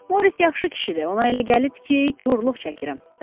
Morisson yaxşı kişidir, ona elə gəlib ki, korluq çəkirəm.